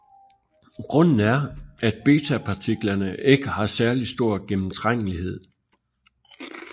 Grunden er at betapartiklerne ikke har særlig stor gennemtrængelighed